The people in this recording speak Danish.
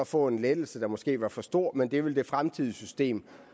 få en lettelse der måske var for stor men det ville det fremtidige system